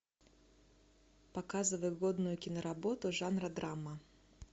показывай годную киноработу жанра драма